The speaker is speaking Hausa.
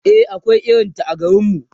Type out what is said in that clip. e akwai irinta a garinmu